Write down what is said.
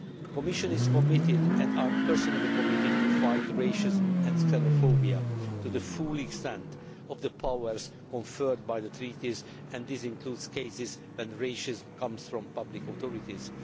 The Commission is committed and I am personally committed to fighting racism and xenophobia to the full extent of the powers conferred by the Treaties, and this includes cases where racism comes from public authorities.